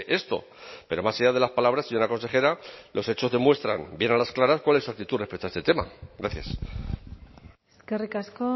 esto pero más allá de las palabras señora consejera los hechos demuestran bien a las claras cuál es su actitud respecto a este tema gracias eskerrik asko